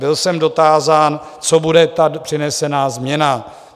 Byl jsem dotázán, co bude ta přinesená změna.